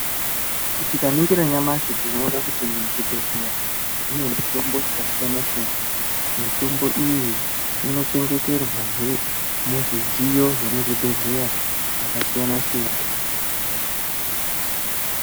Tikaningira nyamashi tinoona kuti muzvibhedhlera mune mitombo yakasiyana-siyana. Mitombo iyi inochengeterwahe muzvidziyo zvemuzvibhedhlera zvakasiyana-siyana.